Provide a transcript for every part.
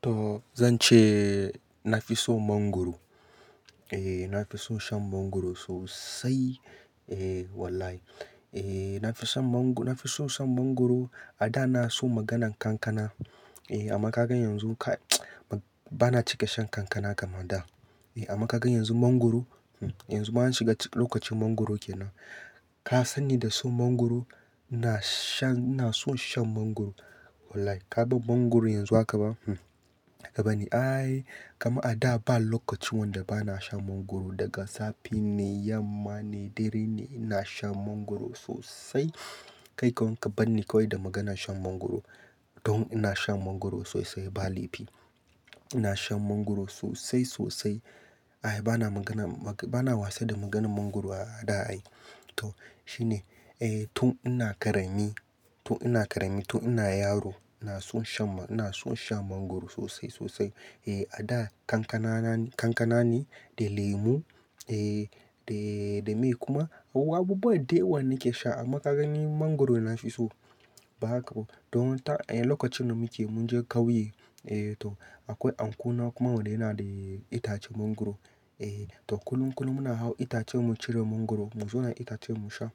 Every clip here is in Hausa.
To zan ce na fi so mangwaro. Eh na fi so shan mangwaro sosai. Eh wallahi, eh na fi so shan mangwaro. A da na so maganan kankana. Eh amma ka gan yanzu bana cika shan kankana kamar da. Eh amma ka gan yanzu mangwaro, yanzu bana shiga lokacin mangwaro kenan. Ka sani da so mangwaro? Na shan, na so shan mangwaro. Wallahi ka ban mangwaro yanzu haka ba, haka ba ne. Aaaai, kama a da ba lokaci wanda bana shan mangwaro daga safe ne, yamma ne, dare ne. Ina shan mangwaro sosai. Kai kawai ka bani kawai da maganan shan mangwaro. Don ina shan mangwaro sosai ba laifi. Ina shan mangwaro sosai, sosai. Ai bana magana, bana wasa da maganan mangwaro a da ai. To shine, eh tun ina ƙarami, tun ina ƙarami, tun ina yaro ina son shan, ina son shan mangwaro sosai, sosai. Eh a da kankana ne, kankana ne da lemu eh da, da mai kuma. Abu, abubuwan dawan nake sha amma ka gani mangwaro na fi so. Ba haka ba. Don ta, eh lokacin da muke mun je kauye eh to akwai anko na kuma wanda yana da itacen mangwaro. Eh to kullum, kullum muna hau itacen mu cire mangwaro. Mu zo da itacen mu sha.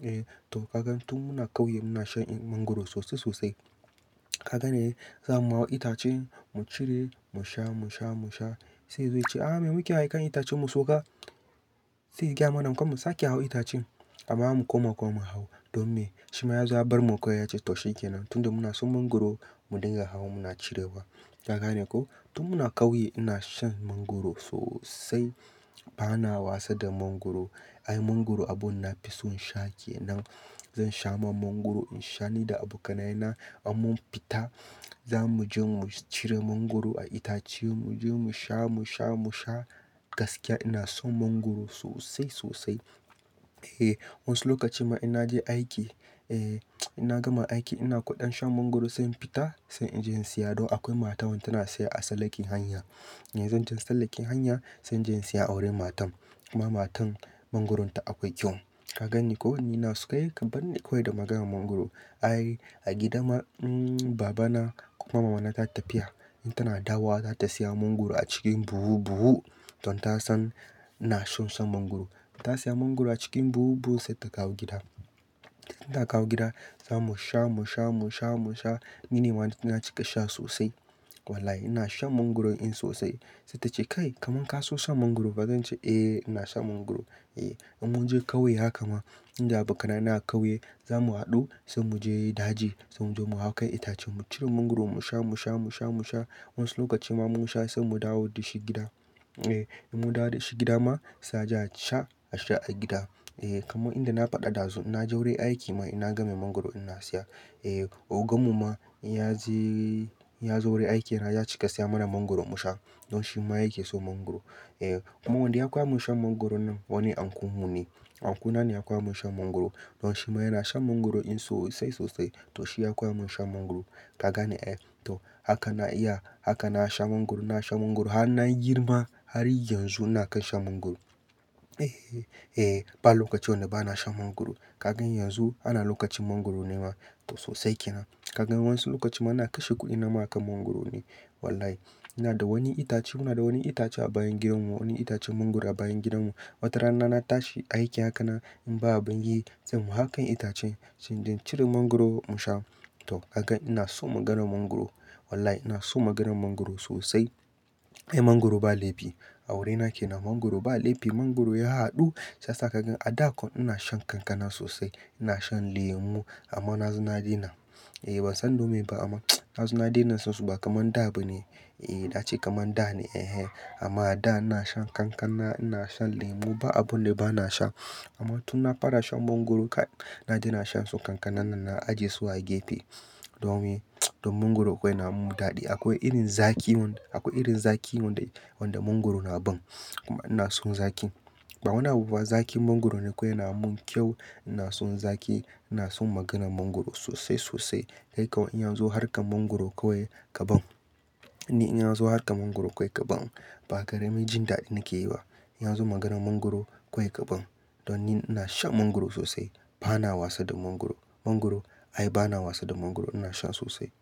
Eh to ka gan tun muna kauye muna shan mangwaro sosai, sosai. Ka gane zamu hau itacen mu cire mu sha, mu sha, mu sha. Sai ya zo yace, "ah me muke hawa kan itacen mu sauka." Sai ya gyama nan kuma mu sake hau itacen amma mu koma kuma mu hau. Don me? Shi ma ya zo ya bar mu kawai ya ce to shi kenan. Tun da muna so mangwaro mu dinga hau muna cirewa. Ka gane ko? Tun muna kauye ina shan mangwaro sosai. Bana wasa da mangwaro. Ai mangwaro abun na fi so in sha kenan. Zan sha man mangwaro in sha ni da abokanai na in mun fita za mu je mu cire mangwaro a itace. Mu je mu sha, mu sha, mu sha gaskiya ina son mangwaro sosai, sosai. Eh wasu lokaci ma ina je aiki, eh ina gama aiki ina kudan shan mangwaro sai in fita sai in je in siya. Don akwai matar wanda tana siyar a salakin hanya. Eh zan je salakin hanya sai je in siya a wurin matan. Kuma matan mangwaronta akwai kyau. Ka ganni ko? Wani ina suka yi ka bani kawai da maganan mangwaro. Ai a gida ma, Baba na kuma Mama na ta tafiya in tana dawowa za ta siya mangwaro a cikin buhu-buhu. Don ta san ina son shan mangwaro. Ta siya mangwaro a cikin buhu-buhu sai ta kawo gida. Da ta kawo gida za mu sha, mu sha, mu sha, mu sha. Ni ma na cika sha sosai. Wallahi ina shan mangwaro in sosai. Sai ta ce, "Kai kamar ka so shan mangwaro fa." Zan ce, "Eh ina shan mangwaro." Eh in mu je kauye haka ma, inda abokanai na a kauye za mu haɗu sai mu je daji sai mu je mu hau kan itace mu cire mangwaro mu sha, mu sha, mu sha, mu sha. Wasu lokaci ma mun sha sai mu dawo da shi gida. Eh in mun dawo da shi gida ma sai a je a sha, a sha a gida. Eh kamar inda na faɗa ɗazu ina ja wurin aiki ma ina game mangwaro ina siya. Eh ogan mu ma ya je, ya zo wurin aikina ya cika siya mana mangwaro mu sha. Don shi ma yake so mangwaro. Eh kuma wanda ya koya mun shan mangwaro nan wani anko mu ne. Anko na ne ya koya mun shan mangwaro. Don shi ma yana shan mangwaro in sosai sosai. To shi ya koya mun shan mangwaro. Ka gane eh? To haka na iya, haka na sha mangwaro, na sha mangwaro. Haa ina girma har yanzu ina kan shan mangwaro. Eh, eh ba lokaci wanda bana shan mangwaro. Ka gan yanzu ana lokacin mangwaro ne ma. To sosai kenan. Ka gan wasu lokaci ma ana kashe kuɗi na ma akan mangwaro ne. Wallahi ina da wani itace, muna da wani itace a bayan gidan mu. Wani itacen mangwaro a bayan gidan mu. Wata rana na tashi aiki haka na in ba abin yi zan hau kan itacen sai na cire mangwaro mu sha. To ka gan ina so maganan mangwaro. Wallahi ina so maganan mangwaro sosai. Ai mangwaro ba laifi. A wurina kenan mangwaro ba laifi. Mangwaro ya haɗu sai saka gan a da kuwa ina shan kankana sosai. Ina shan lemu amma na zina dai na. Eh ban san dome ba amma na zina dai na sosai ba kamar da ba ne. Eh da a ce kamar da ne. Eh amma a da ina shan kankana, ina shan lemu ba abun da bana shan. Amma tun na fara shan mangwaro kai na daina shan su kankanan nan na ajiye su a gefe. Don me? Don mangwaro akwai yana mun daɗi. Akwai irin zaki wanda, akwai irin zaki wanda, wanda mangwaro na ban. Kuma ina son zaki. Ba wani abu ba zaki mangwaro ne kawai yana mun kyau. Ina son zaki, ina son maganan mangwaro sosai, sosai. Kai kawai in ya zo harkar mangwaro kawai ka ban. Ni in ya zo harkar mangwaro kai ka ban. Ba ƙarami jin daɗi nake yi ba. In ya zo maganan mangwaro kawai ka ban. Don ni ina shan mangwaro sosai. Bana wasa da mangwaro. Mangwaro, ai bana wasa da mangwaro ina sha sosai.